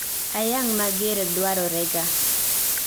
ayang' mager dwarorega